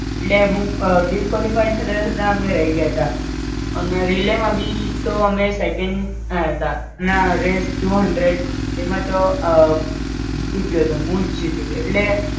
એટલે હું Disqualify થતાં થતાં અમે રય ગ્યાંતા અન રિલે માં ભી માં તો અમે સેકંડ આયા તા અને આ રેસ ટુ હન્ડ્રેડ એમ તો જીતી ગયોતો હું જ જીતી ગ્યો.